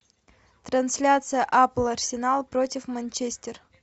трансляция апл арсенал против манчестер